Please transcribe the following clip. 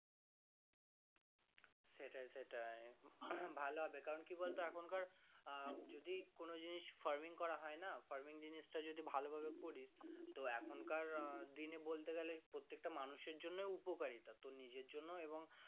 সেটাই সেটাই হম ভালো হবে কারণ কি বলতো এখনকার আহ যদি কোনো জিনিস farming করা হয় না farming জিনিস তা যদি ভালো ভাবে করিস তো এখন কার আহ দিনে বলতে গালে পরিতেটা মানুষ এর জন্য উপকারী তোর নিজের জন্য এবং।